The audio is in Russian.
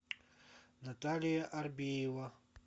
наталья арбеева